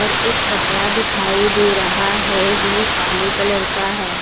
और एक कपड़ा दिखाई दे रहा है जो काले कलर का है।